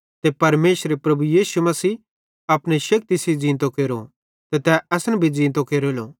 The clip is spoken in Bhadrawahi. ते परमेशरे प्रभु यीशु अपने शेक्ति सेइं ज़ींतो केरो ते तै असन भी ज़ींतो केरेलो